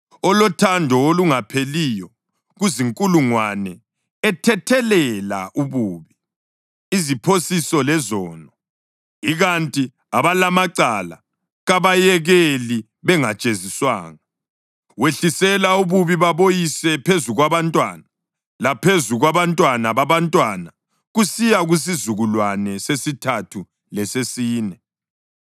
olothando olungapheliyo kuzinkulungwane ethethelela ububi, iziphosiso lezono. Ikanti abalamacala kabayekeli bengajeziswanga; wehlisela ububi baboyise phezu kwabantwana, laphezu kwabantwana babantwana kusiya kusizukulwane sesithathu lesesine.”